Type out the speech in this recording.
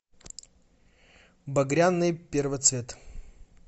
багряный первоцвет